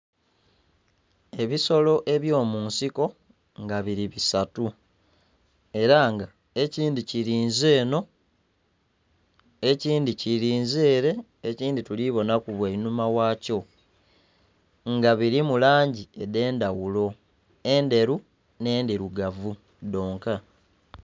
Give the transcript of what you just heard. Ebisolo ebyomunsiko nga biri bisatu era nga ekindhi kirinze eno, ekindhi kirinze ere, ekindhi tulibonaku bwanhuma wakyo nga birimu langi edhendhaghulo endheru, n'endhirugavu dhonka.